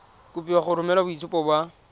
kopiwa go romela boitshupo ba